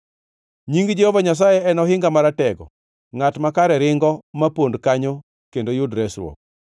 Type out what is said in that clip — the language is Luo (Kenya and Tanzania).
Nying Jehova Nyasaye en ohinga maratego, ngʼat makare ringo ma pond kanyo kendo yud resruok.